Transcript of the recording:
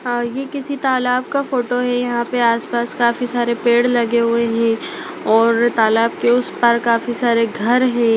अ ये किसी तालाब का फोटो है यहां पे आसपास काफी सारे पेड़ लगे हुए है और तालाब के उस पार काफी सारे घर है।